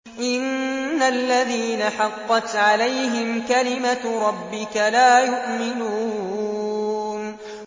إِنَّ الَّذِينَ حَقَّتْ عَلَيْهِمْ كَلِمَتُ رَبِّكَ لَا يُؤْمِنُونَ